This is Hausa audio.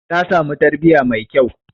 Ta haifi ɗa namiji.